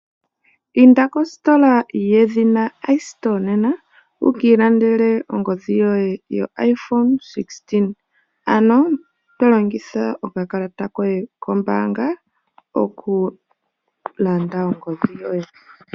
Inda kositola yedhina iStore nena wuka ilandele ongodhi yoye yo iPhone 16, ano to longitha okakalata koye kombaanga okulanda ongodhi yoye.